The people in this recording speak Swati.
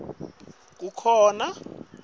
teluhlaka kukhona